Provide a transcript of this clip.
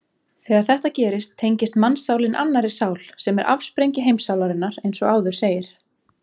Þegar þetta gerist tengist mannssálin annarri sál sem er afsprengi heimssálarinnar eins og áður segir.